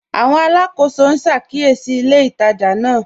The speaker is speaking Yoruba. Àwọn alákọsọ n ṣàkíyèsí ilẹ̀ ìtajà náà.